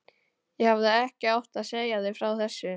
Ég hefði ekki átt að segja þér frá þessu